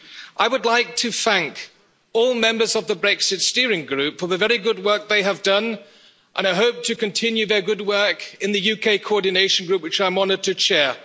I would like to thank all members of the Brexit Steering Group for the very good work they have done, and I hope to continue their good work in the UK Coordination Group, which I'm honoured to chair.